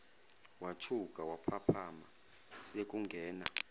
wathuka waphaphama sekungena